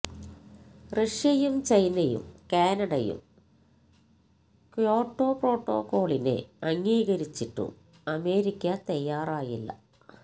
റഷ്യയും ചൈനയും കാനഡയും ക്യോട്ടോ പ്രോട്ടോക്കോളിനെ അംഗീകരിച്ചിട്ടും അമേരിക്ക തയ്യാറായില്ല